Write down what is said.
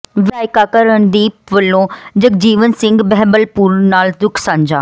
ਵਿਧਾਇਕ ਕਾਕਾ ਰਣਦੀਪ ਵਲੋਂ ਜਗਜੀਵਨ ਸਿੰਘ ਬਹਿਬਲਪੁਰ ਨਾਲ ਦੁੱਖ ਸਾਂਝਾ